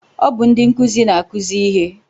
Ọ bụ ndị nkụzi na-akụzi ihe